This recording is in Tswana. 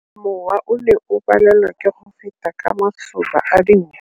Mowa o ne o palelwa ke go feta ka masoba a dinko.